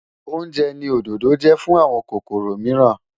Oúnjẹ ni òdòdó jẹ́ fún àwọn kòkòrò mìíràn.